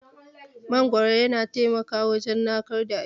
Mangwaro yana taimako wujan narkar da abinci.